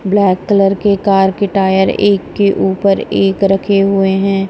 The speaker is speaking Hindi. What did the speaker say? ब्लैक कलर के कार के टायर एक के ऊपर एक रखे हुए हैं।